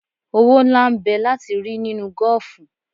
Owó ńlá n bẹ láti rí nínú gọ́ọ̀fù.